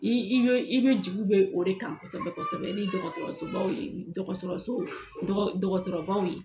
I i bɛ jigi bɛ o de kan kosɛbɛ kosɛbɛ ni dɔgɔtɔrɔso dɔgɔtɔrɔsow dɔgɔtɔrɔaw ye.